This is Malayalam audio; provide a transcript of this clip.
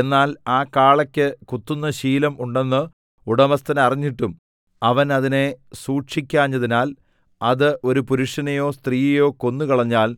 എന്നാൽ ആ കാളയ്ക്ക് കുത്തുന്ന ശീലം ഉണ്ടെന്ന് ഉടമസ്ഥൻ അറിഞ്ഞിട്ടും അവൻ അതിനെ സൂക്ഷിക്കാഞ്ഞതിനാൽ അത് ഒരു പുരുഷനെയോ സ്ത്രീയെയോ കൊന്നുകളഞ്ഞാൽ